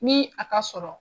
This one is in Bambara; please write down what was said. Ni a ka sɔrɔ.